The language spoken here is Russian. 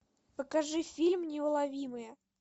покажи фильм неуловимые